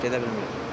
Gedə bilmirik.